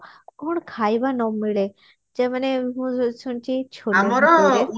କଣ ଖାଇବା ନ ମିଳେ ଯୋଉମାନେ ମୁଁ ଶୁଣିଛି